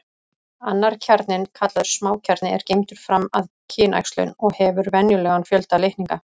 Annar kjarninn, kallaður smákjarni, er geymdur fram að kynæxlun og hefur venjulegan fjölda litninga.